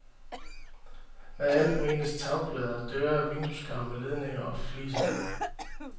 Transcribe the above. Med alt menes tagplader, døre, vindueskarme, ledninger og fliser.